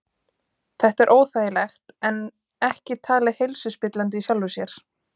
Þetta er óþægilegt en ekki talið heilsuspillandi í sjálfu sér.